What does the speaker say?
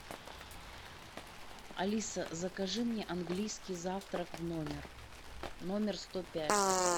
алиса закажи мне английский завтрак в номер номер сто пять